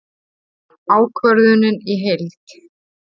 Ákvörðunin í heild